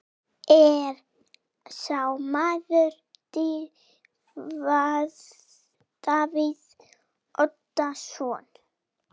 Er sá maður Davíð Oddsson?